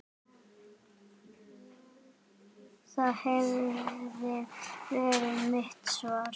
Það hefði verið mitt svar.